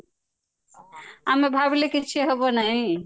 ଆମେ ଭାବିଲେ କିଛି ହେବ ନାହିଁ